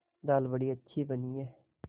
दाल बड़ी अच्छी बनी है